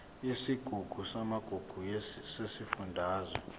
yesigungu samagugu sesifundazwe